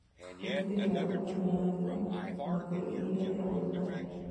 Gĩtiragĩa ũrugarĩ wa rĩũa ona kũrĩ ihinda rĩa ũrugarĩ